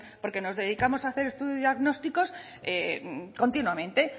porque nos dedicamos a hacer estudios diagnósticos continuamente